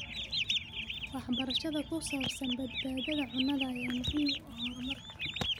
Waxbarashada ku saabsan badbaadada cunnada ayaa muhiim u ah horumarka.